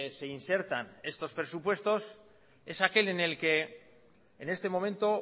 se insertan estos presupuestos es aquel en el que en este momento